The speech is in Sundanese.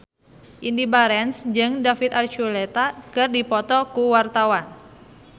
Indy Barens jeung David Archuletta keur dipoto ku wartawan